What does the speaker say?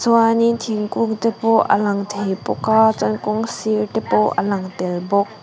chuanin thingkûngte pawh a lang thei bawk a chuan kawngsirte pawh a lang tel bawk.